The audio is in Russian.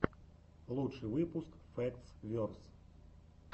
лучший выпуск фэктс верс